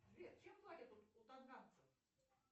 сбер чем платят у танганцзев